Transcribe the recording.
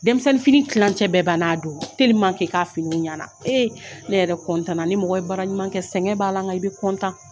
Denmisɛnnin fini kilancɛ bɛ banna a don telimanke k'a fini ɲɛna e ne yɛrɛ kɔntan na ni mɔgɔ baara ɲumankɛ sɛgɛn b'a la nka i be kɔntan